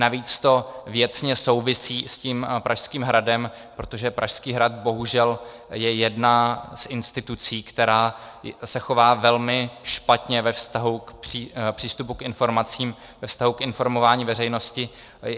Navíc to věcně souvisí s tím Pražským hradem, protože Pražský hrad bohužel je jedna z institucí, která se chová velmi špatně ve vztahu k přístupu k informacím, ve vztahu k informování veřejnosti.